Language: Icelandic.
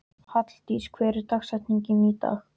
Halldís, hver er dagsetningin í dag?